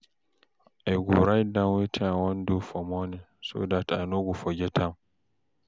I go write down wetin I wan do for morning so dat I no go forget am